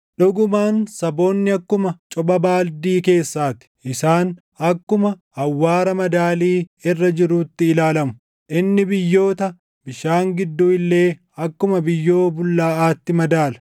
Dhugumaan saboonni akkuma copha baaldii keessaa ti; isaan akkuma awwaara madaalii irra jiruutti ilaalamu; inni biyyoota bishaan gidduu illee akkuma biyyoo bullaaʼaatti madaala.